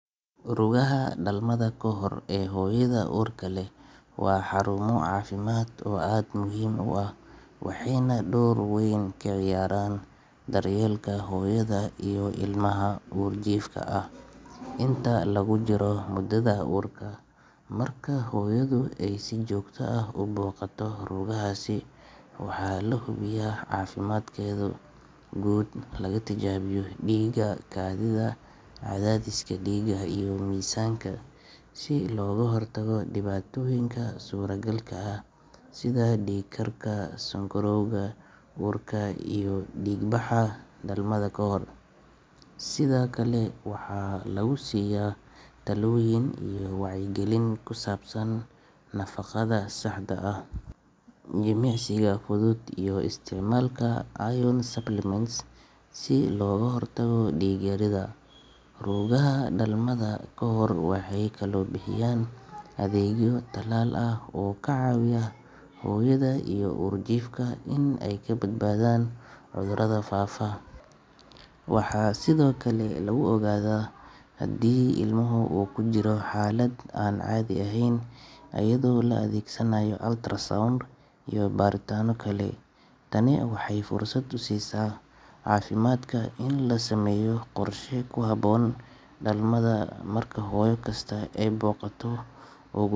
Rugaha dhalmada kahor ee hooyada uurka leh waa xarumo caafimaad oo aad muhiim u ah, waxayna door weyn ka ciyaaraan daryeelka hooyada iyo ilmaha uurjiifka ah inta lagu jiro muddada uurka. Marka hooyadu ay si joogto ah u booqato rugahaasi, waxaa la hubiyaa caafimaadkeeda guud, laga tijaabiyaa dhiigga, kaadida, cadaadiska dhiigga iyo miisaanka si looga hortago dhibaatooyinka suuragalka ah sida dhiig-karka, sonkorowga uurka iyo dhiig-baxa dhalmada ka hor. Sidoo kale waxaa lagu siiya tallooyin iyo wacyigelin ku saabsan nafaqada saxda ah, jimicsiga fudud, iyo isticmaalka iron supplements si looga hortago dhiig-yarida. Rugaha dhalmada kahor waxay kaloo bixiyaan adeegyo tallaal ah oo ka caawiya hooyada iyo uurjiifka in ay ka badbaadaan cudurada faafa. Waxaa sidoo kale lagu ogaadaa haddii ilmaha uu ku jiro xaalad aan caadi ahayn iyadoo la adeegsanayo ultrasound iyo baaritaano kale. Tani waxay fursad u siisaa caafimaadka in la sameeyo qorshe ku habboon dhalmada. Marka hooyo kasta ay booqato ugu.